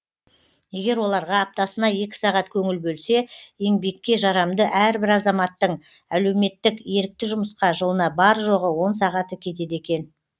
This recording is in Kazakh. егер оларға аптасына екі сағат көңіл бөлсе еңбекке жарамды әрбір азаматтің әлеуметтік ерікті жұмысқа жылына бар жоғы он сағаты кетеді екен